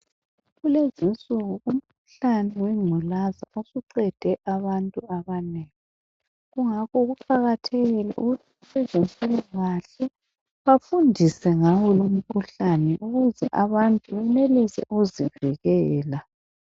Kulezi insuku umkhuhlane wengculaza usuqede abantu abanengi, kungakho kuqakathekile ukuthi abezempilakahle bafundise ngawo lumkhuhlane ukuze abantu benelise ukuzivikela.